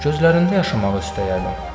Gözlərində yaşamaq istəyərdim.